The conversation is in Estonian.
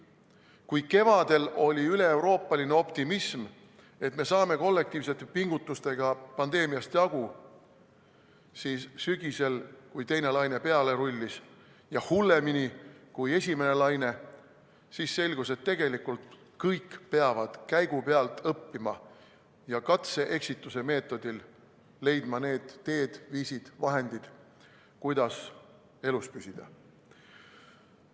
Kui kevadel oli üleeuroopaline optimism, et me saame kollektiivsete pingutustega pandeemiast jagu, siis sügisel, kui teine laine peale rullis ja hullemini kui esimene laine, siis selgus, et tegelikult kõik peavad käigu pealt õppima ja katse-eksitusmeetodil leidma need teed, viisid, vahendid, kuidas elus püsida.